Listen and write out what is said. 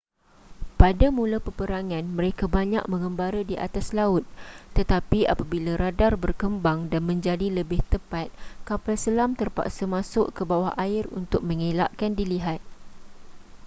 pada mula peperangan mereka banyak menggembara di atas laut tetapi apabila radar berkembang dan menjadi lebih tepat kapal selam terpaksa masuk ke bawah air untuk mengelakkan dilihat